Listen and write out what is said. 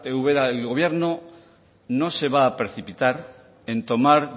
ubera el gobierno no se va a precipitar en tomar